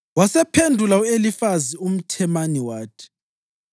Wasephendula u-Elifazi umThemani wathi: